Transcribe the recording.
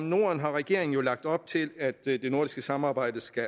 norden har regeringen jo lagt op til at det nordiske samarbejde skal